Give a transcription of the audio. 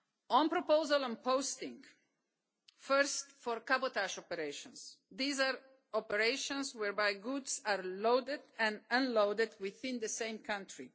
On proposal and posting, first for cabotage operations, these are operations whereby goods are loaded and unloaded within the same country.